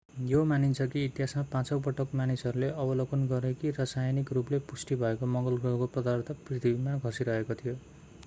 यो मानिन्छ कि इतिहासमा पाँचौँ पटक मानिसहरूले अवलोकन गरे कि रासायनिक रूपले पुष्टि भएको मङ्गल ग्रहको पदार्थ पृथ्वीमा खसिरहेको थियो